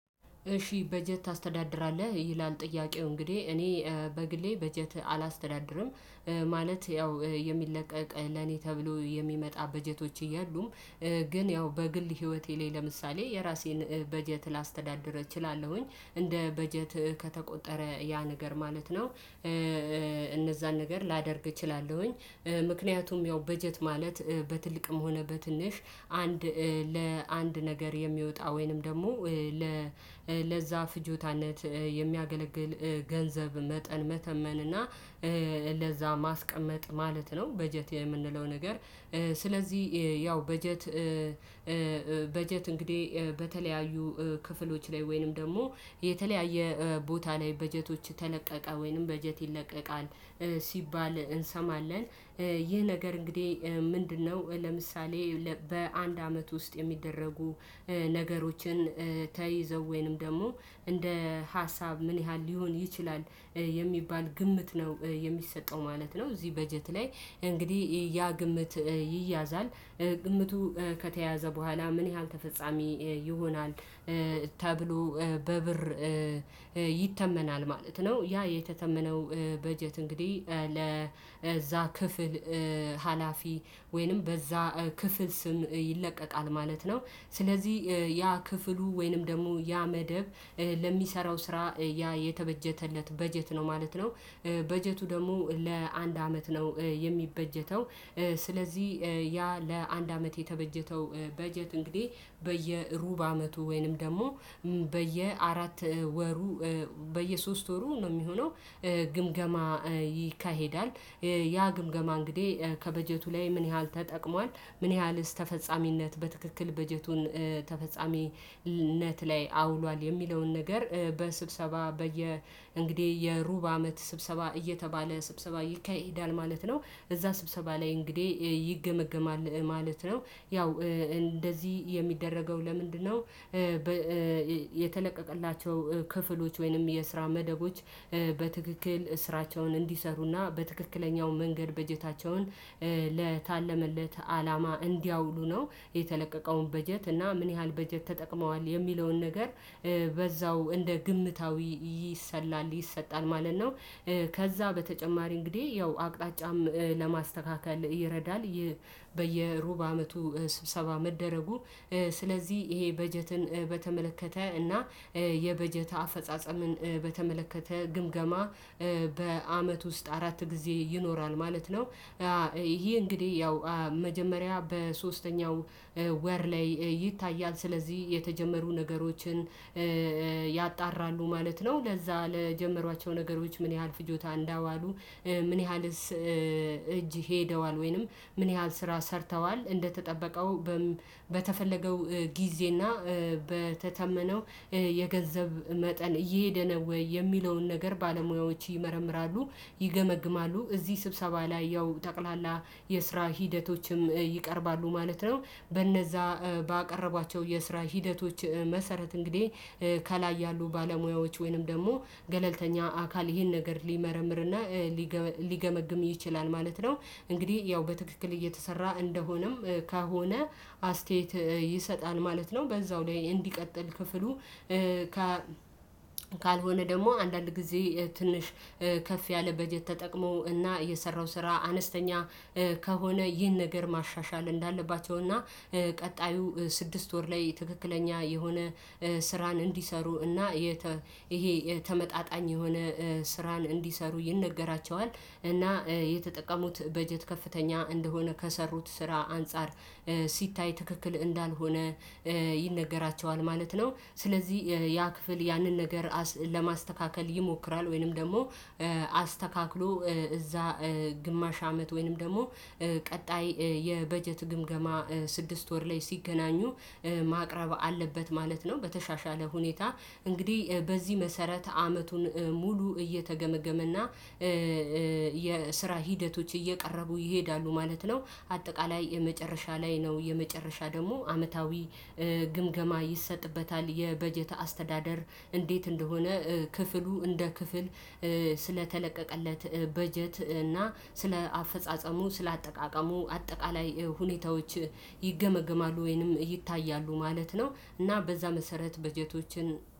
እሺ በጀት ታስተዳድራለህ ይላል? ጥያቄው እንግዲህ እኔ በግሌ በጀት አላስተዳድርም። ማለት ያው የሚለቀቅ ለኔ ተብሎ የሚመጣ በጀቶች የሉም። ግን ያው በግል ህይወቴ ላይ ለምሳሌ የራሴን በጀት ላስተዳድር እችላለሁኝ እንደ በጀት ከተቆጠረ ያ ነገር ማለት ነው። እነዛን ነገር ላደርግ እችላለሁኝ። ምክንያቱም ያው በጀት ማለት በትልቅም ሆነ በትንሽ አንድ ለአንድ ነገር የሚወጣ ወይንም ደግሞ ለዛ ፍጆታነት የሚያገለግል ገንዘብ መጠን መተመን እና ለዛ ማስቀመጥ ማለት ነው። በጀት የምንለው ነገር ስለዚህ ያው በጀት። በጀት እንግዲህ በተለያዩ ክፍሎች ላይ ወይንም ደግሞ የተለያየ ቦታ ላይ በጀቶች ተለቀቀ ወይንም በጀት ይለቀቃል ሲባል እንሰማለን። ይህ ነገር እንግዲህ ምንድነው? ለምሳሌ በአንድ አመት ውስጥ የሚደረጉ ነገሮችን ተይዘው ወይንም ደግሞ እንደ ሀሳብ ምን ያህል ሊሆን ይችላል የሚባል ግምት ነው የሚሰጠው ማለት ነው። እዚህ በጀት ላይ እንግዲህ ያ ግምት ይያዛል። ግምቱ ከተያዘ በኋላ ምን ያህል ተፈጻሚ ይሆናል? ተብሎ በብር ይተመናል ማለት ነው። ያ የተተመነው በጀት እንግዲህ ለዛ ክፍል ሀላፊ ወይንም በዛ ክፍል ስም ይለቀቃል ማለት ነው። ስለዚህ ያ ክፍሉ ወይንም ደግሞ ያ መደብ ለሚሰራው ስራ ያ የተበጀተለት በጀት ነው ማለት ነው። በጀቱ ደግሞ ለአንድ አመት ነው። የሚበጀተው ስለዚህ ያ ለአንድ አመት የተበጀተው በጀት እንግዲህ በየሩብ አመቱ ወይንም ደግሞ በየአራት ወሩ በየሶስት ወሩ ነው የሚሆነው። ግምገማ ይካሄዳል። ያ ግምገማ እንግዲህ ከበጀቱ ላይ ምን ያህል ተጠቅሟል ምን ያህልስ ተፈጻሚነት በትክክል በጀቱን ተፈጻሚነት ላይ አውሏል የሚለውን ነገር በስብሰባ በየ እንግዲህ የሩብ አመት ስብሰባ እየተባለ ስብሰባ ይካሄዳል ማለት ነው። እዛ ስብሰባ ላይ እንግዲህ ይገመገማል ማለት ነው። ያው እንደዚህ የሚደረገው ለምንድነው? የተለቀቀላቸው ክፍሎች ወይንም የስራ መደቦች በትክክል ስራቸውን እንዲሰሩና በትክክለኛው መንገድ በጀታቸውን ለታለመለት አላማ እንዲያውሉ ነው። የተለቀቀውን በጀት እና ምን ያህል በጀት ተጠቅመዋል የሚለውን ነገር በዛው እንደ ግምታዊ ይሰላል ይሰጣል ማለት ነው። ከዛ በተጨማሪ እንግዲህ ያው አቅጣጫም ለማስተካከል ይረዳል። በየሩብ አመቱ ስብሰባ መደረጉ ስለዚህ ይሄ በጀትን በተመለከተ እና የበጀት አፈጻጸምን በተመለከተ ግምገማ በአመት ውስጥ አራት ጊዜ ይኖራል ማለት ነው። ይሄ እንግዲህ ያው መጀመሪያ በሶስተኛው ወር ላይ ይታያል ስለዚህ የተጀመሩ ነገሮችን ያጣራሉ ማለት ነው። ለዛ ለጀመሯቸው ነገሮች ምን ያህል ፍጆታ እንዳዋሉ ምን ያህልስ እጅ ሄደዋል ወይንም ምን ያህል ስራ ሰርተዋል እንደተጠበቀው በተፈለገው ጊዜና በተተመነው የገንዘብ መጠን እየሄደ ነው። ወይ? የሚለውን ነገር ባለሙያዎች ይመረምራሉ ይገመግማሉ እዚህ ስብሰባ ላይ ያው ጠቅላላ የስራ ሂደቶችም ይቀርባሉ ማለት ነው። በእነዛ ባቀረቧቸው የስራ ሂደቶች መሰረት እንግዲህ ከላይ ያሉ ባለሙያዎች ወይንም ደግሞ ገለልተኛ አካል ይሄን ነገር ሊመረምርና ሊገመግም ይችላል ማለት ነው። እንግዲህ ያው በትክክል እየተሰራ እንደሆነም ከሆነ አስተያየት ይሰጣል ማለት ነው። በዛው ላይ እንዲቀጥል ክፍሉ። ካልሆነ ደግሞ አንዳንድ ጊዜ ትንሽ ከፍ ያለ በጀት ተጠቅሞ እና የሰራው ስራ አነስተኛ ከሆነ ይህን ነገር ማሻሻል እንዳለባቸው እና ቀጣዩ ስድስት ወር ላይ ትክክለኛ የሆነ ስራን እንዲሰሩ እና ይሄ ተመጣጣኝ የሆነ ስራን እንዲሰሩ ይነገራቸዋል እና የተጠቀሙት በጀት ከፍተኛ እንደሆነ ከሰሩት ስራ አንፃር ሲታይ ትክክል እንዳልሆነ ይነገራቸዋል ማለት ነው። ስለዚህ ያ ክፍል ያንን ነገር ለማስተካከል ይሞክራል ወይንም ደግሞ አስተካክሎ እዛ ግማሽ አመት ወይንም ደግሞ ቀጣይ የበጀት ግምገማ ስድስት ወር ላይ ሲገናኙ ማቅረብ አለበት ማለት ነው። በተሻሻለ ሁኔታ እንግዲህ በዚህ መሰረት አመቱን ሙሉ እየተገመገመና የስራ ሂደቶች እየቀረቡ ይሄዳሉ ማለት ነው። አጠቃላይ የመጨረሻ ላይ ነው የመጨረሻ ደግሞ አመታዊ ግምገማ ይሰጥበታል የበጀት አስተዳደር እንዴት እንደሆነ ክፍሉ እንደ ክፍል ስለተለቀቀለት በጀት እና ስለ አፈጻጸሙ ስለ አጠቃቀሙ አጠቃላይ ሁኔታዎች ይገመግማሉ ወይንም ይታያሉ ማለት ነው። እና በዛ መሰረት በጀቶችን